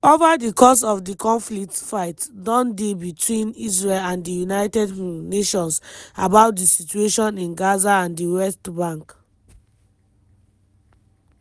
ova di course of di conflict fight don dey betwin israel and di united um nations about di situation in gaza and di west bank.